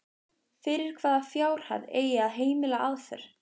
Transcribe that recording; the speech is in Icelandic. Fyrir hvaða fjárhæð eigi að heimila aðför?